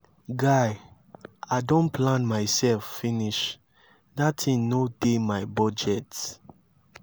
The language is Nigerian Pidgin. guy i don plan myself finish dat thing no dey my budget.